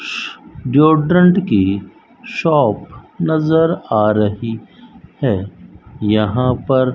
जो ड्रॉन्ट की शॉप नजर आ रहीं हैं यहाँ पर --